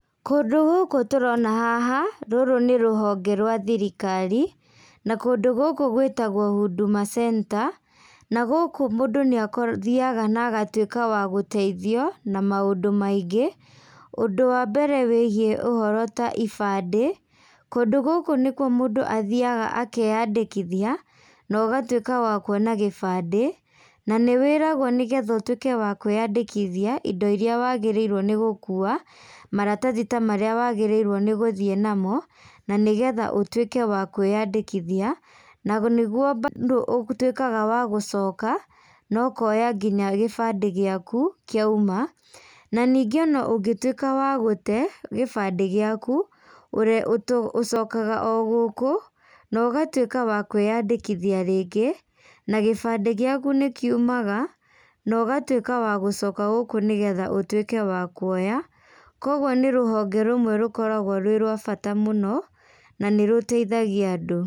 Kũndũ gũkũ tũrona haha, rũrũ nĩ rũhonge rwa thirikari, na kũndũ gũkũ gwĩtagwo Huduma Center, na gũkũ mũndũ nĩ athiaga na agatuĩka wa gũteithio na maũndũ maingĩ. Ũndũ wa mbere wĩgiĩ ũhoro ta ibandĩ. Kũndũ gũkũ nĩkuo mũndũ athiaga akeandĩkithia no ũgatuĩka wa kuona gĩbandĩ na nĩ wĩragwo nĩgetha ũtuĩke wa kwĩandĩkithia indo iria wagĩrĩirwo nĩ gũkua, maratathĩ ta marĩa wagĩrĩirwo nĩ gũthiĩ namo na nĩgetha ũtuĩke wa kwĩandĩkithia, na nĩguo bandũ ũtwĩkaga wa gũcoka no ũkoya nginya gĩbandĩ gĩaku kĩauma. Na ningĩ ona ũngĩtuĩka wa gũte gĩbandĩ gĩaku, ũcokaga o gũkũ no ũgatuĩka wa kwĩandĩkithia rĩngĩ na gĩbandĩ gĩaku nĩ kiumaga na ũgatuĩka wa gũcoka gũkũ nĩgetha ũtuĩke wa kuoya. Koguo nĩ rũhonge rũmwe rũkoragwo rwĩ rwa bata mũno na nĩ rũteihagia andũ.